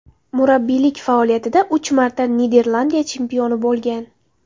Murabbiylik faoliyatida uch marta Niderlandiya chempioni bo‘lgan.